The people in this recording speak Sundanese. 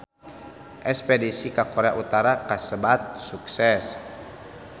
Espedisi ka Korea Utara kasebat sukses